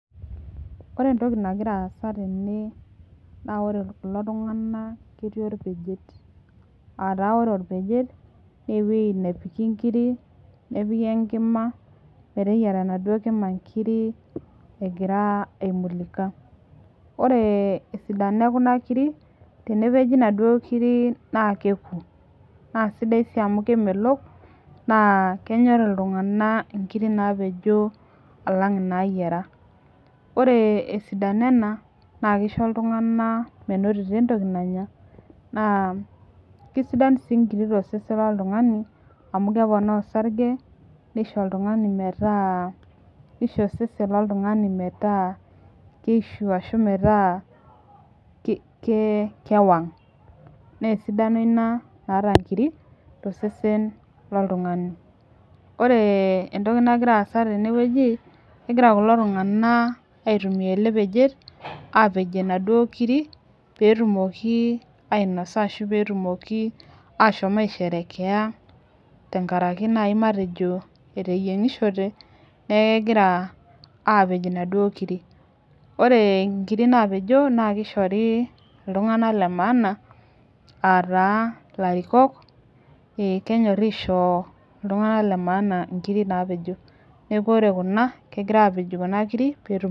Ore entoki nagira aasa tene, ore kulo tunganak ketii orpejet. Aataa ore orpejet naa ewueji nepiki inkiri, nepik enkima meteyiara enaduo kima inkiri egira aimulika. Ore esidano ekuna kiri, tenepeji inaduo kiri naa keku naa sidai sii amu kemelok naa kenyorr iltunganak inkiri naapenjo alang inaayiara. Ore esidano enena naa keisho iltunganak Tosesen loltungani amu keponaa osarge, neisho oltungani metaa kewang. Nesidano ina naata inkiri tosesen loltungani. Ore entoki nagira aasa teneweji, kegira kulo tunganaka aitunguaa ele peje peyie epejie inaduo kiri peyie etumoki ainosa ashu peyie etumoki aashom aisherekea tenkaraki naaji matejo eteyiengishote niaku kagira aapej inaduo kiri. Ore inkirir naapejo naa keishori iltunganaka le maana aaa taa ilarikok. Kenyorr aishoo iltunganak le maana inkiri naapejo. Nisku ore kuna kepejitoi kunakiri peetum